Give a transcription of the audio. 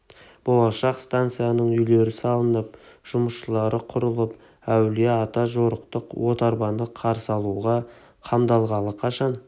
болашақ станцияның үйлері салынып жұмысшылар құралып әулие-ата жарықтық отарбаны қарсы алуға қамданғалы қашан